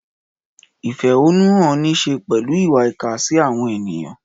Ìfẹ̀hónúhàn ní í ṣe pẹ̀lú ìwà ìkà sí àwọn ènìyàn.